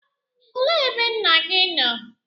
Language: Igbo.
Olee ebe nna gị nọ?